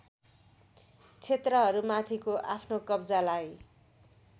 क्षेत्रहरूमाथिको आफ्नो कब्जालाई